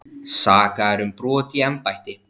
Sakaðir um brot í embætti